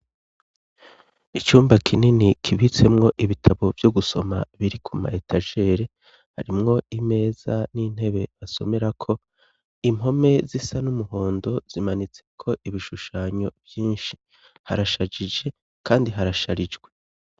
icumba kinini kibitsemwo ibitabo vyo gusoma biri kuma etagere harimwo imeza n'intebe basomera ko impome zisa n'umuhondo zimanitse ko ibishushanyo vyinshi harashajije kandi harasharijwe